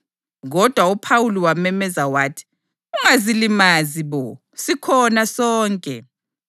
Kodwa uPhawuli wamemeza wathi, “Ungazilimazi bo! Sikhona sonke!”